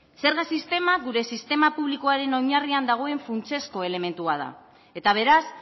zerga sistema gure sistema publikoaren oinarrian dagoen funtsezko elementua da eta beraz